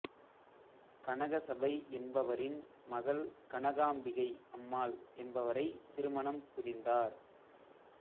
கனகசபை என்பவரின் மகள் கனகாம்பிகை அம்மாள் என்பவரைத் திருமணம் புரிந்தார்